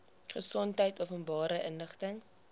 gesondheid openbare inligting